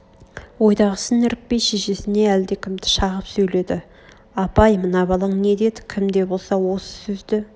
ойдағысын іркпей шешесіне әлдекімді шағып сөйледі апа-ай мына балаң не дед кім де болса осы сөзді